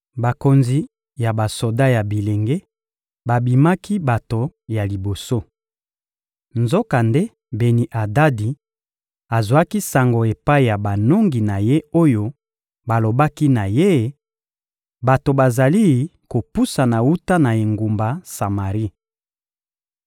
Bakonzi ya basoda ya bilenge babimaki bato ya liboso. Nzokande Beni-Adadi azwaki sango epai ya banongi na ye oyo balobaki na ye: — Bato bazali kopusana wuta na engumba Samari.